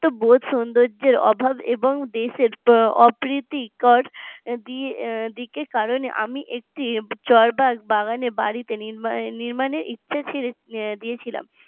বহুত সুন্দর্যের অভাব এবং দেশের অপ্রীতিকর দিক দিকে কারণে আমি একটি জলভাগ বাগানে বাড়িতে নি নির্মাণের ইচ্ছে দিয়েছিলাম